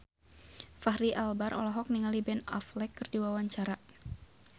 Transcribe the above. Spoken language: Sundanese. Fachri Albar olohok ningali Ben Affleck keur diwawancara